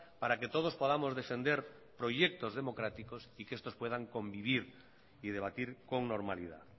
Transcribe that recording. para que todos podamos defender proyectos democráticos y que estos puedan convivir y debatir con normalidad